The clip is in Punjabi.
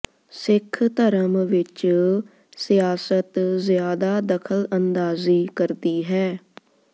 ਸਿੱਖ ਧਰਮ ਵਿਚ ਸਿਆਸਤ ਜ਼ਿਆਦਾ ਦਖ਼ਲ ਅੰਦਾਜ਼ੀ ਕਰਦੀ ਹੈ